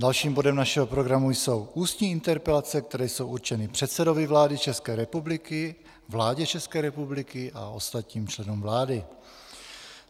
Dalším bodem našeho programu jsou ústní interpelace, které jsou určeny předsedovi vlády České republiky, vládě České republiky a ostatním členům vlády.